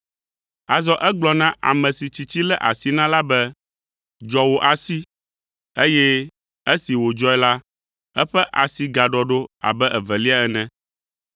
Azɔ egblɔ na ame si tsitsi lé asi na la be, “Dzɔ wò asi,” eye esi wòdzɔe la, eƒe asi gaɖɔ ɖo abe evelia ene.